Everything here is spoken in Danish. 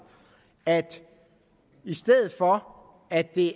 at i stedet for at det